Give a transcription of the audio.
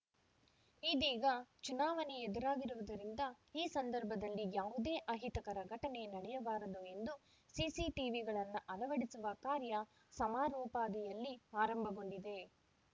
ಇದೀಗ ಚುನಾವಣೆ ಎದುರಾಗಿರುವುದರಿಂದ ಈ ಸಂದರ್ಭದಲ್ಲಿ ಯಾವುದೇ ಅಹಿತಕರ ಘಟನೆ ನಡೆಯಬಾರದು ಎಂದು ಸಿಸಿ ಟಿವಿಗಳನ್ನು ಅಳವಡಿಸುವ ಕಾರ್ಯ ಸಮರೋಪಾದಿಯಲ್ಲಿ ಆರಂಭಗೊಂಡಿದೆ